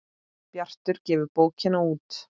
Bjartur gefur bókina út.